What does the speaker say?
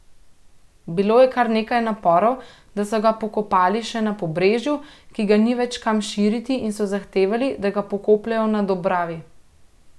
Bilo je kar nekaj naporov, da so ga pokopali še na Pobrežju, ki ga ni več kam širiti in so zahtevali, da ga pokopljejo na Dobravi.